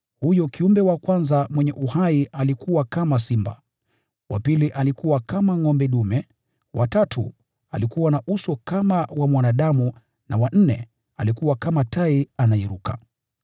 Kiumbe wa kwanza mwenye uhai alikuwa kama simba, wa pili alikuwa kama ngʼombe dume, wa tatu alikuwa na uso kama wa mwanadamu, na wa nne alikuwa kama tai anayeruka.